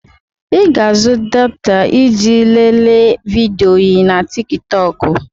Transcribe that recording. I ga-azụ data iji lelee vidiyo na Tik tọk.